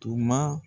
Tuma